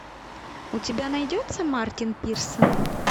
у тебя найдется мартин пирсон